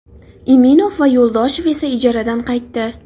Iminov va Yo‘ldoshev esa ijaradan qaytdi.